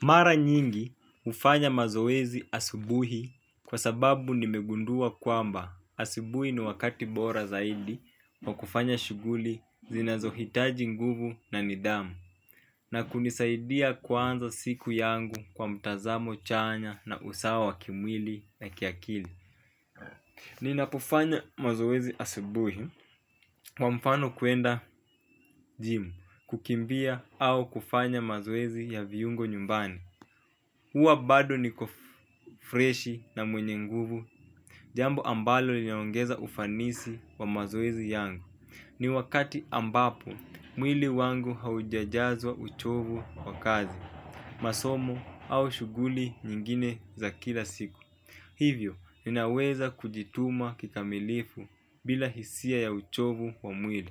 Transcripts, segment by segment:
Mara nyingi ufanya mazoezi asubuhi kwa sababu nimegundua kwamba asibuhi ni wakati bora zaidi wa kufanya shuguli zinazohitaji nguvu na nidhamu na kunisaidia kuanza siku yangu kwa mtazamo chanya na usawa wa kimwili na kiakili. Ninapofanya mazoezi asibuhi kwa mfano kwenda gym kukimbia au kufanya mazoezi ya viungo nyumbani huwa bado niko freshi na mwenye nguvu jambo ambalo linaongeza ufanisi kwa mazoezi yangu. Ni wakati ambapo mwili wangu haujajazwa uchovu kwa kazi masomo au shuguli nyingine za kila siku. Hivyo, ninaweza kujituma kikamilifu bila hisia ya uchovu wa mwili.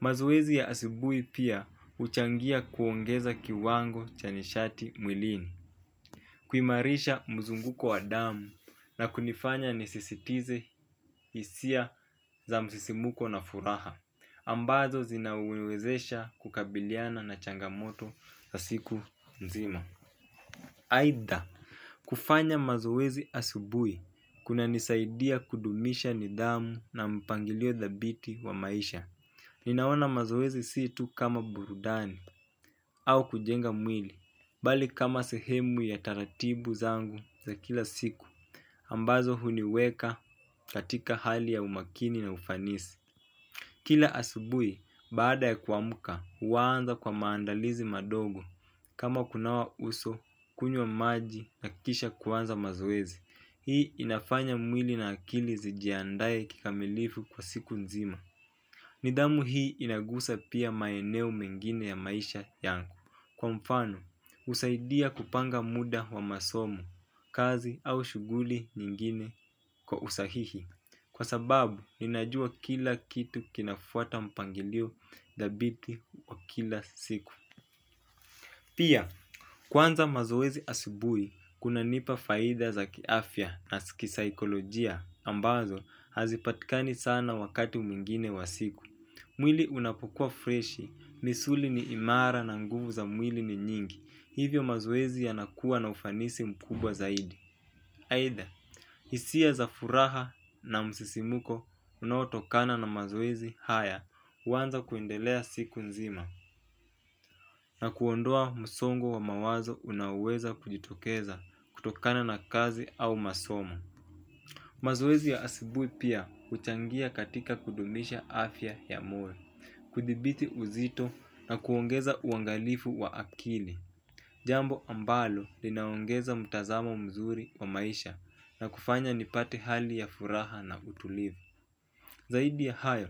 Mazoezi ya asibui pia uchangia kuongeza kiwango chanishati mwilini. Kuimarisha mzunguko wa damu na kunifanya nisisitize hisia za msisimuko na furaha ambazo zinaniwezesha kukabiliana na changamoto na siku mzima. Aitha, kufanya mazoezi asubui kuna nisaidia kudumisha nidhamu na mpangilio dhabiti wa maisha. Ninaona mazoezi si tu kama burudani au kujenga mwili, bali kama sehemu ya taratibu zangu za kila siku, ambazo huniweka katika hali ya umakini na ufanisi. Kila asubui, baada ya kuamka, huwanza kwa maandalizi madogo. Kama kunawa uso, kunywa maji na kisha kwanza mazoezi. Hii inafanya mwili na akili zijiandaye kikamilifu kwa siku nzima. Nidhamu hii inagusa pia maeneo mengine ya maisha yangu. Kwa mfano, husaidia kupanga muda wa masomo, kazi au shuguli nyingine kwa usahihi. Kwa sababu, ninajua kila kitu kinafuata mpangilio dhabiti wa kila siku pia kwanza mazoezi asubuhi kuna nipa faida za kiafya na kisaikolojia ambazo hazipatikani sana wakati mwingine wa siku. Mwili unapokua freshi, misuli ni imara na nguvu za mwili ni nyingi. Hivyo mazoezi yanakua na ufanisi mkubwa zaidi. Aitba, hisia za furaha na msisimuko unaotokana na mazoezi haya huanza kuendelea siku nzima na kuondoa msongo wa mawazo unaoweza kujitokeza kutokana na kazi au masomo mazoezi ya asibui pia huchangia katika kudumisha afya ya moyo kuthibiti uzito na kuongeza uangalifu wa akili jambo ambalo linaongeza mtazamo mzuri wa maisha na kufanya nipate hali ya furaha na utulivu. Zaidi ya hayo,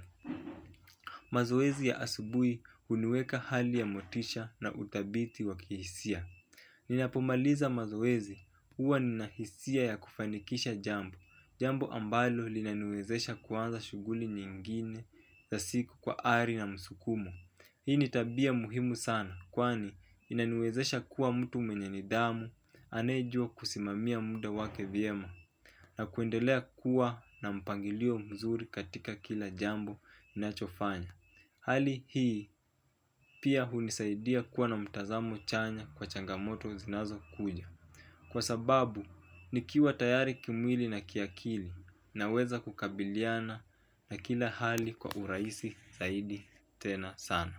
mazoezi ya asubui huniweka hali ya motisha na uthabiti wa kihisia. Ninapomaliza mazoezi, huwa ninahisia ya kufanikisha jambo. Jambo ambalo linaniwezesha kuanza shuguli nyingine za siku kwa ari na msukumo. Hii ni tabia muhimu sana kwani inaniwezesha kuwa mtu mwenye nidhamu anayejua kusimamia muda wake vyema na kuendelea kuwa na mpangilio mzuri katika kila jambo nachofanya. Hali hii pia hunisaidia kuwa na mtazamo chanya kwa changamoto zinazo kuja. Kwa sababu nikiwa tayari kimwili na kiakili naweza kukabiliana na kila hali kwa uraisi zaidi tena sana.